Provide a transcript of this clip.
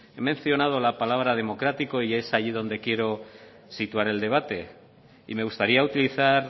he mencionado la palabra democrático y es ahí donde quiero situar el debate y me gustaría utilizar